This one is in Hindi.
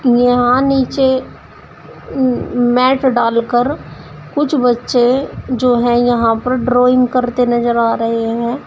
यहां नीचे मैट डालकर कुछ बच्चे जो है यहां पर ड्राइंग करते नजर आ रहे हैं।